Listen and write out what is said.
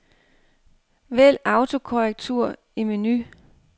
Vælg autokorrektur i menu.